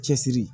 Cɛsiri